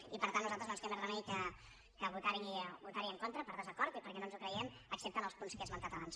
i per tant a nosaltres no ens queda més remei que vo·tar·hi en contra per desacord i perquè no ens ho cre·iem excepte en els punts que he esmentat abans